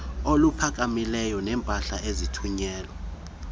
oluphakamileyo neempahla ezithunyelwa